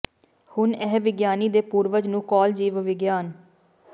ਹੁਣ ਇਹ ਵਿਗਿਆਨੀ ਦੇ ਪੂਰਵਜ ਨੂੰ ਕਾਲ ਜੀਵ ਵਿਗਿਆਨ